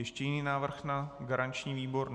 Ještě jiný návrh na garanční výbor?